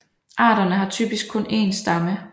Arterne har typisk kun én stamme